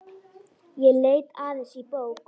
Ég leit aðeins í bók.